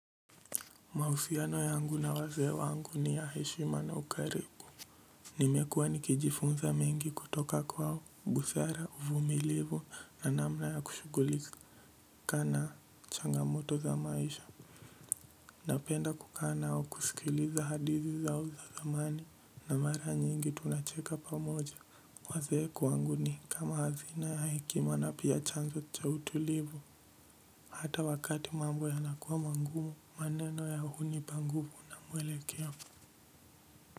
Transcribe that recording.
Mahusiano yangu na wazee wangu ni ya heshima na ukarimu nimekuwa nikijifunza mingi kutoka kwa wabusara uvumilivu na namna ya kushugulika na changamoto za maisha napenda kukaa nao kusikiliza hadithi zao za zamani na mara nyingi tunacheka pamoja wazee kwangu ni kama hazina ya hekima na pia chanzo cha utulivu hata wakati mambo yanakua mangumu maneno yao hunipa nguvu na mwelekeo.